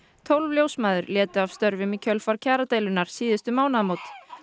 tólf ljósmæður létu af störfum í kjölfar kjaradeilunnar síðustu mánaðamót